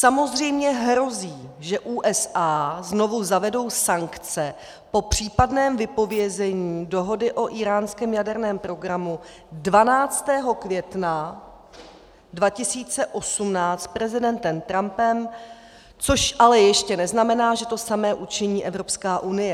Samozřejmě hrozí, že USA znovu zavedou sankce po případném vypovězení dohody o íránském jaderném programu 12. května 2018 prezidentem Trumpem, což ale ještě neznamená, že to samé učiní Evropská unie.